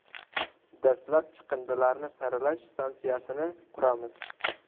Dastlab chiqindilarni saralash stansiyasini quramiz.